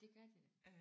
Det gør det da